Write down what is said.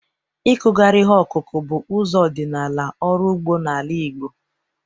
Ịkụgharị ihe ọkụkụ bụ ụzọ ọdịnala ọrụ ugbo n'ala Igbo.